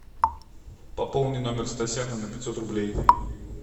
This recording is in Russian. пополни номер стасяна на пятьсот рублей